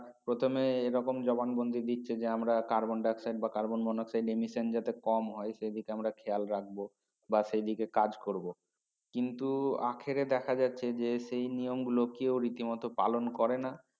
প্রথমে এই রকম জবান বন্দি দিচ্ছে যে আমারা carbon dioxide বা carbon monacid যাতে কম হয় সে দিকে আমরা খেয়াল রাখবো বা সেই দিকে কাজ করবো কিন্তু আখেরে দেখা যাচ্ছে যে সেই নিয়ম গুলো কেও রীতিমত পালোন করে না